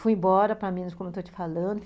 Fui embora para Minas, como estou te falando.